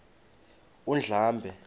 undlambe